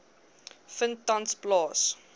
vind tans plaas